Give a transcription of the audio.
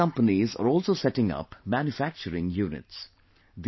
Many companies are also setting up manufacturing units